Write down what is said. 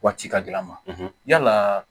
Waati ka gɛlɛ a ma yala